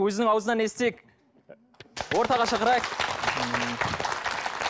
өзінің аузынан естиік ортаға шақырайық